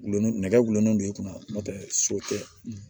Gulonlen do nɛgɛ gulonnen don i kunna n'o tɛ so tɛ